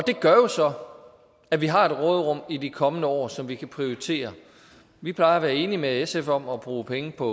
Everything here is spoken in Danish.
det gør jo så at vi har et råderum i de kommende år som vi kan prioritere vi plejer at være enig med sf om at bruge penge på